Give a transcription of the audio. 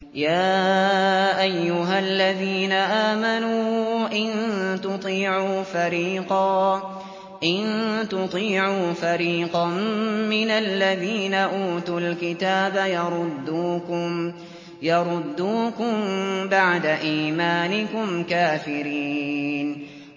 يَا أَيُّهَا الَّذِينَ آمَنُوا إِن تُطِيعُوا فَرِيقًا مِّنَ الَّذِينَ أُوتُوا الْكِتَابَ يَرُدُّوكُم بَعْدَ إِيمَانِكُمْ كَافِرِينَ